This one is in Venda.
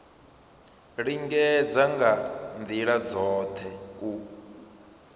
lingedza nga ndila dzothe u